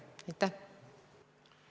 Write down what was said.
Analüüs käib ja tähtaeg on 2019. aasta detsember.